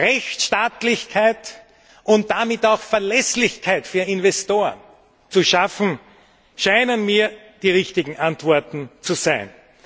Rechtsstaatlichkeit und damit auch Verlässlichkeit für Investoren zu schaffen, scheinen mir die richtigen Antworten zu sein.